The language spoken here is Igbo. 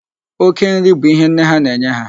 Oke nri bụ ihe nne ha na-enye ha.